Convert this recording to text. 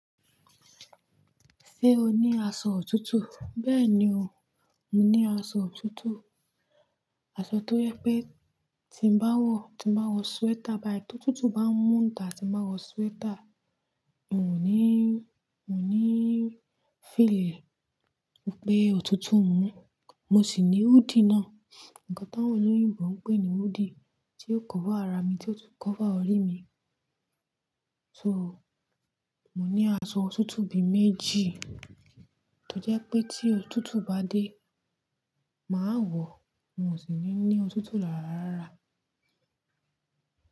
Ṣé o ní aṣọ òtútù? Bẹ́ẹ̀ni o, mo ní aṣọ òtútù. Aṣọ tó yẹ pé tí n bá wọ̀, tí n bá wọ súwétà, báì tí òtútù bá ń múta, tí n bá wọ súwétà. N ò ní, n ò ní fílẹ̀ pé òtútù ń mú. Mo sì ní húdi náà. Ǹkan táwọn lóyin ń bọ̀ ń pè ní húdi, tí yóò kọ́fà ara mi, tí yóò tún kọ́fà orí mi. So, mo ní aṣọ òtútù bí i méjì. Tó jẹ́ pé tí òtútù bá dé, màá wọ̀. N ò sì ní ní òtútù láràárà.